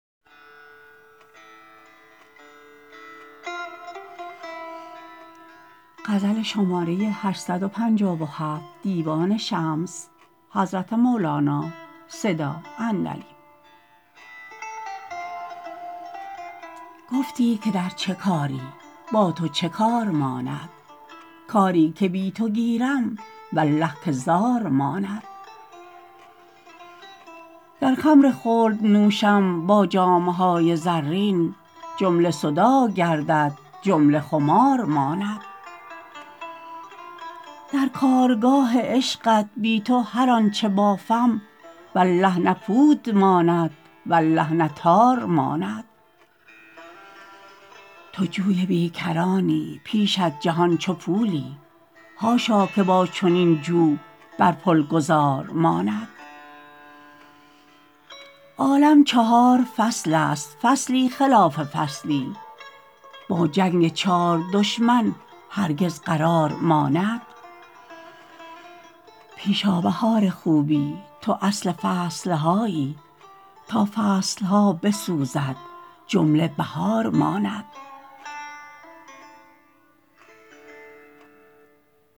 گفتی که در چه کاری با تو چه کار ماند کاری که بی تو گیرم والله که زار ماند گر خمر خلد نوشم با جام های زرین جمله صداع گردد جمله خمار ماند در کارگاه عشقت بی تو هر آنچ بافم والله نه پود ماند والله نه تار ماند تو جوی بی کرانی پیشت جهان چو پولی حاشا که با چنین جو بر پل گذار ماند عالم چهار فصلست فصلی خلاف فصلی با جنگ چار دشمن هرگز قرار ماند پیش آ بهار خوبی تو اصل فصل هایی تا فصل ها بسوزد جمله بهار ماند